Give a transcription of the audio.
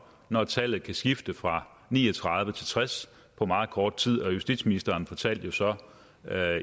når tallet kan skifte fra ni og tredive til tres på meget kort tid justitsministeren fortalte jo så